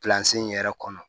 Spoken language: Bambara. in yɛrɛ kɔnɔ